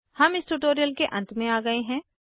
हम इस ट्यूटोरियल के अंत में आ गए हैं